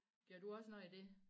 Gør du også noget af det